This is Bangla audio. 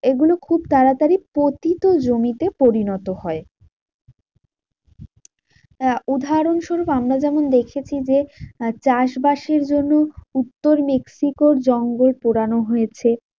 এগুলো খুব তাড়াতাড়ি পতিত জমিতে পরিণত হয়। আহ উদাহরণস্বরুপ আমরা যেমন দেখেছি যে, চাষবাসের জন্য উত্তর মেক্সিকোর জঙ্গল পোড়ানো হয়েছে।